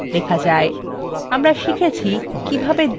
আমরা শিখেছি কিভাবে একটি দ্বিভাষী নথি লেখা যায়